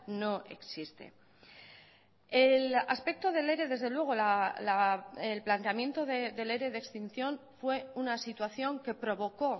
no existe el aspecto del ere desde luego el planteamiento del ere de extinción fue una situación que provocó